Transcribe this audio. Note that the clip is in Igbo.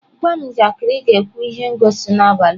Gwa m njakịrị ị ga-ekwu ihe ngosi n'abalị a.